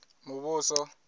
muvhuso